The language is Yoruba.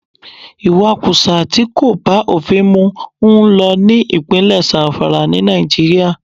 Ìwakùsà tí kò bá òfin mu ń lọ ní ìpínlè Zamfara, ní Nàìjíríà.